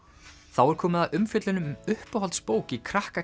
þá er komið að umfjöllun um uppáhalds bók í krakka